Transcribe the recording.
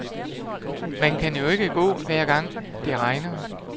Man kan jo ikke gå, hver gang det regner.